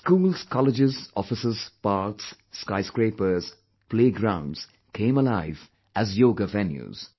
Schools, colleges, offices, parks, skyscrapers, playgrounds came alive as yoga venues